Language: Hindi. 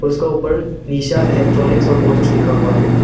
उसका ऊपर निशा इलेक्ट्रॉनिक्स और बहुत कुछ लिखा हुआ है।